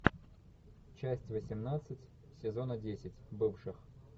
часть восемнадцать сезона десять бывших